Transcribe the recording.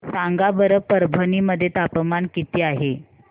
सांगा बरं परभणी मध्ये तापमान किती आहे